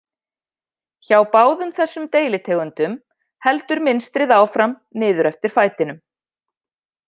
Hjá báðum þessum deilitegundum heldur mynstrið áfram niður eftir fætinum.